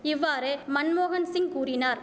இவ்வாறு மன்மோகன்சிங் கூறினார்